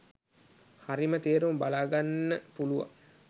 හරිම තේරුම බලාගන්න පුලුවන්